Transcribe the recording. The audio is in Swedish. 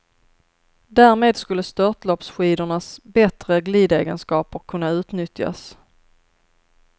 Därmed skulle störtloppsskidornas bättre glidegenskaper kunna utnyttjas.